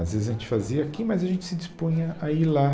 Às vezes a gente fazia aqui, mas a gente se dispunha a ir lá.